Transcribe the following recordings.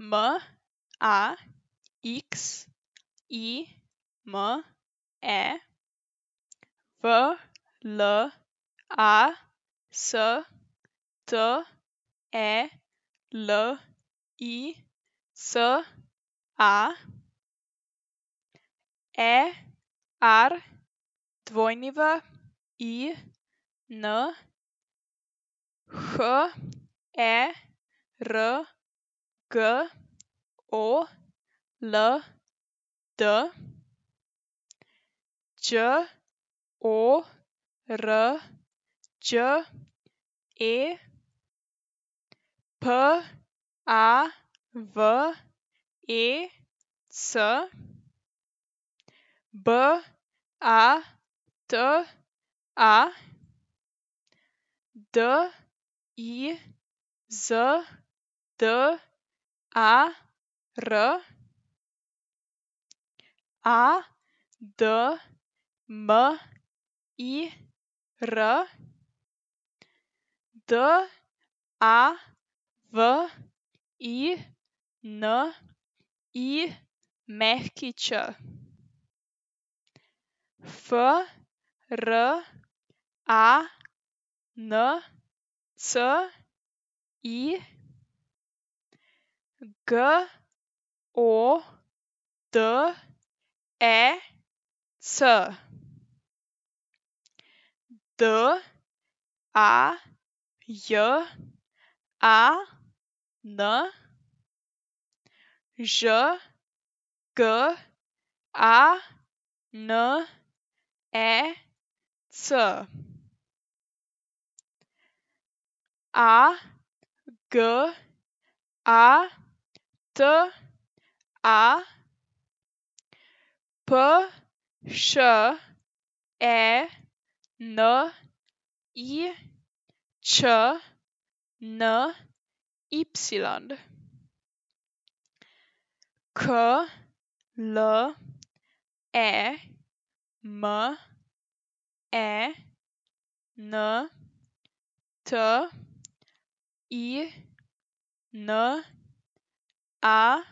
M A X I M E, V L A S T E L I C A; E R W I N, H E R G O L D; Đ O R Đ E, P A V E C; B A T A, D I Z D A R; A D M I R, D A V I N I Ć; F R A N C I, G O D E C; D A J A N, Ž G A N E C; A G A T A, P Š E N I Č N Y; K L E M E N T I N A,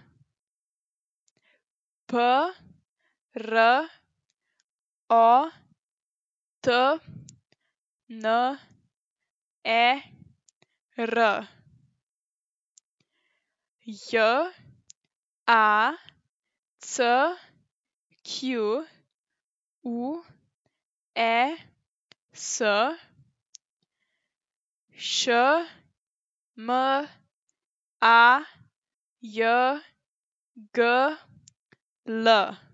P R O T N E R; J A C Q U E S, Š M A J G L.